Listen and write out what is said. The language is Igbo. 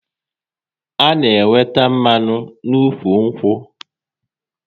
A na-enweta mmanụ n'ụkwụ nkwụ